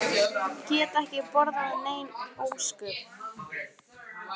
Get ekki borðað nein ósköp.